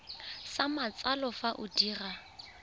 sa matsalo fa o dira